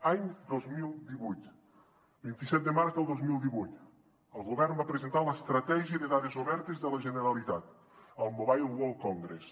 any dos mil divuit vint set de març del dos mil divuit el govern va presentar l’estratègia de dades obertes de la generalitat al mobile world congress